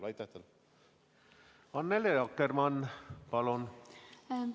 Annely Akkermann, palun!